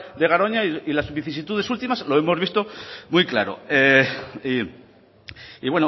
de garoña y las vicisitudes últimas lo hemos visto muy claro y